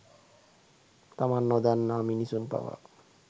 තමන් නොදන්නා මිනිසුන් පවා